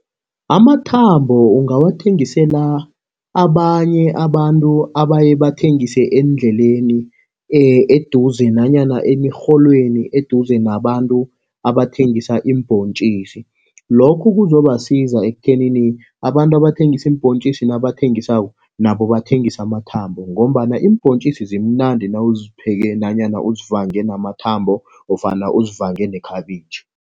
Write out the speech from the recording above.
Amathambo ungawathengisela abanye abantu abaye bathengise eendleleni, eduze nanyana emirholweni eduze nabantu abathengisa iimbhontjisi. Lokhu kuzobasiza ekuthenini abantu abathengisa iimbhontjisi nabathengisako, nabo bathengise amathambo, ngombana iimbhontjisi zimnandi nawuzipheke nanyana uzivange namathambo ofana uzivange nekhabitjhi.